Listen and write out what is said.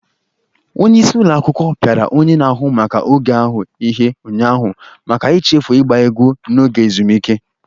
Onye isi ụlọ akwụkwọ piara onye na-ahụ maka oge ahụ ihe ụnyaahụ maka ichefu ịgba egwu n'oge ezumike.